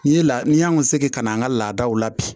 N'i ye la ni y'an ka segi ka na an ka laadaw la bi